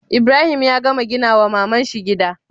Ibrahim ya gama gina wa mamanshi gida?